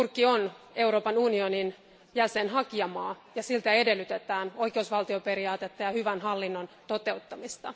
Turkki on Euroopan unionin hakijamaa, ja siltä edellytetään oikeusvaltioperiaatetta ja hyvän hallinnon toteuttamista.